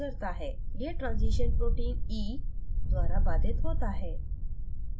यह transition protein e द्वारा बाधित होता है